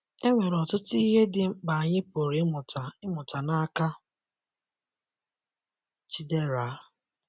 E nwere ọtụtụ ihe dị mkpa anyị pụrụ ịmụta ịmụta n’aka Chidera